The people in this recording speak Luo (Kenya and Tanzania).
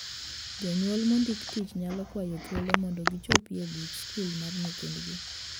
Jonyuol mondiki tich nyalo kwayo thuolo mondo gichopi e buche skul mar nyithindgi.